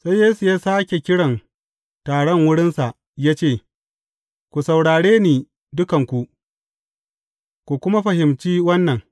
Sai Yesu ya sāke kiran taron wurinsa ya ce, Ku saurare ni dukanku, ku kuma fahimci wannan.